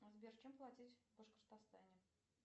сбер чем платить в башкортостане